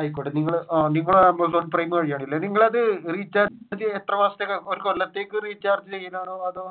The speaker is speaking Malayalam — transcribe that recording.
ആയിക്കോട്ടെ നിങ്ങൾ നിങ്ങൾ amazon prime വഴിയാണ് അല്ലെ നിങ്ങൾ അത് റീചാർജ് ചെയുന്നത് എത്ര മാസത്തേക്കാണ് ഒരു കൊല്ലത്തേക്ക് റീചാർജ് ചെയ്യുന്നതാണോ അതോ